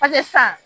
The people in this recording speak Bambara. sisan